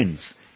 Friends,